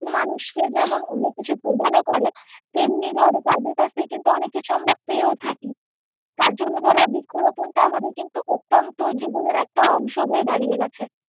মানুষকে যেমন অনেককিছু প্রদানও করে তেমনি ধরো তাদের কাছ থেকে কিন্তু আমরা অনেক কিছু পেয়েও থাকি তার জন্য ধরো বৃক্ষ রোপণটা কিন্তু আমাদের অত্যন্ত কিনত জীবনের একটা অংশ হয়ে দাঁড়িয়েছে।